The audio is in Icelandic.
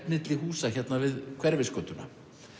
milli húsa hérna við Hverfisgötuna